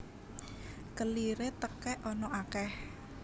Keliré tekèk ana akèh